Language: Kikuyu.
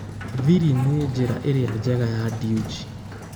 Thiri nĩ njĩra ĩrĩa njega ya Dewji?